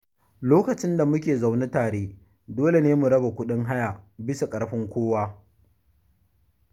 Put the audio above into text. Lokacin da muke zaune tare, dole ne mu raba kuɗin haya bisa ƙarfn kowa.